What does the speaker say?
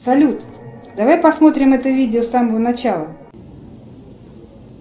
салют давай посмотрим это видео с самого начала